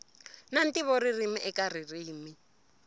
na ntivo ririmi eka ririmi